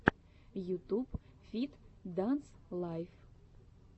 ютуб фит данс лайф